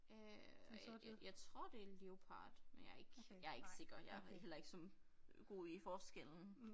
Øh jeg tror det leopard men jeg ikke jeg ikke sikker jeg heller ikke så god i forskellen